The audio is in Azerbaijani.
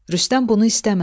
Rüstəm bunu istəmədi.